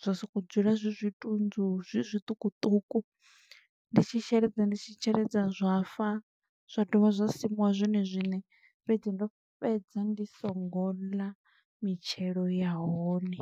zwa soko dzula zwi zwitunzu, zwi zwiṱukuṱuku, ndi tshi sheledza, ndi tshi sheledza zwa fa, zwa dovha zwa simuwa zwone zwine, fhedzi ndo fhedza ndi songo ḽa mitshelo ya hone.